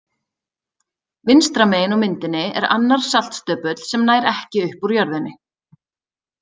Vinstra megin á myndinni er annar saltstöpull sem nær ekki upp úr jörðinni.